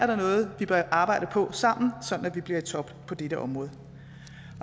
der noget vi bør arbejde på sammen sådan at vi bliver i top på dette område